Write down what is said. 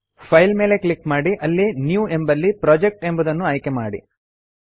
file ಮೇಲೆ click ಮಾಡಿ ಅಲ್ಲಿ ನ್ಯೂ ಎಂಬಲ್ಲಿ ಪ್ರೊಜೆಕ್ಟ್ ಎಂಬುದನ್ನು ಆಯ್ಕೆಮಾಡಿ